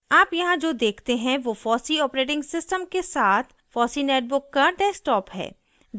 आप यहाँ जो देखते हैं वो fossee os के साथ fossee netbook का desktop है